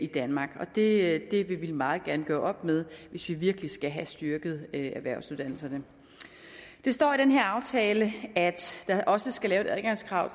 danmark og det vil vi meget gerne gøre op med hvis vi virkelig skal have styrket erhvervsuddannelserne der står i den her aftale at der også skal laves et adgangskrav